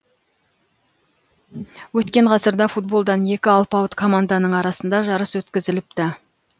өткен ғасырда футболдан екі алпауыт команданың арасында жарыс өткізіліпті